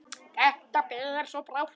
Þetta ber svo brátt að.